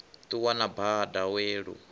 ṱuwa na bada we lu